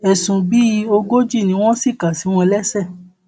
ẹsùn bíi ogójì ni wọn sì kà sí wọn lẹsẹ